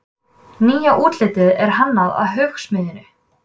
Nýja útlitið er hannað af Hugsmiðjunni.